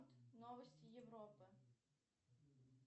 новости европы